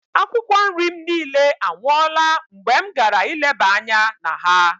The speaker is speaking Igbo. Akwụkwọ nri m niile anwụọla mgbe m gara ileba anya na ha.